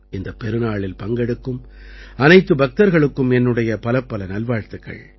இந்தப் பெருநாளில் பங்கெடுக்கும் அனைத்து பக்தர்களுக்கும் என்னுடைய பலப்பல நல்வாழ்த்துக்கள்